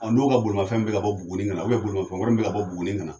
N'o ka bolimanfɛn mi ka bɔ Buguni ka na, bolimanfɛn wɛrɛ mɛ ka bɔ Buguni ka na